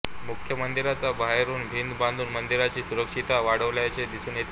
मुख्य मंदिराच्या बाहेरुन भिंत बांधून मंदिराची सुरक्षितता वाढवल्याचे दिसून येते